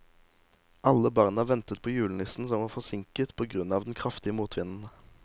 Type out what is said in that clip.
Alle barna ventet på julenissen, som var forsinket på grunn av den kraftige motvinden.